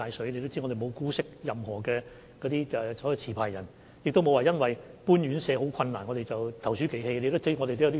大家也知道，我們沒有姑息任何一名持牌人，也沒有因為搬遷院舍十分困難而投鼠忌器。